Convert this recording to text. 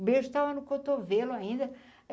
o beijo estava no cotovelo ainda.